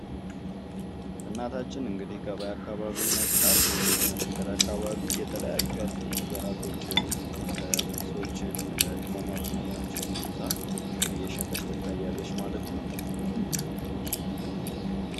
እናታችን እንግዲህ ገበያ አካባቢ ይመስላል። ወይም መንገድ አካባቢ የተለያዩ ጭሶችን ቅመማ ቅመሞችን ይዛ እየሸጠች ትታያለች ማለት ነው።